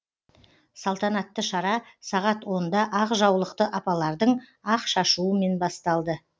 салтанатты шара сағат онда ақ жаулықты апалардың ақ шашуымен басталды